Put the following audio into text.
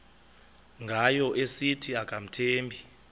ngayo esithi akamthembi